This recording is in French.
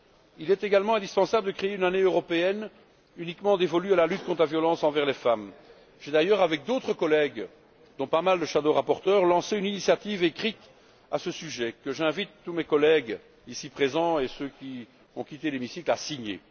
Il est également indispensable de créer une Année européenne uniquement dévolue à la lutte contre la violence envers les femmes. J'ai d'ailleurs, avec d'autres collègues, dont de nombreux rapporteurs fictifs, lancé une initiative écrite à ce sujet, que j'invite tous mes collègues ici présents et ceux qui ont quitté l'hémicycle à signer.